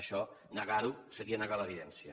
això negar ho seria negar l’evidència